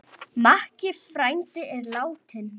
Makki frændi er látinn.